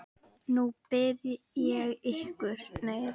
Nú bið ég ykkur